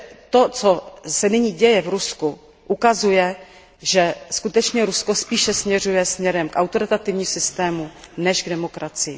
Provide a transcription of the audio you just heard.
To, co se nyní děje v Rusku, ukazuje, že skutečně Rusko spíše směřuje k autoritativnímu systému než k demokracii.